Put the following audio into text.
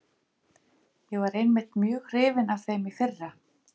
Ég var einmitt mjög hrifinn af þeim í fyrra.